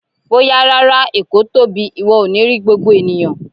Bóyá rárá, Èkó tóbi, ìwọ ò ní rí gbogbo ènìyàn.